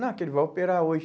Não, é que ele vai operar hoje.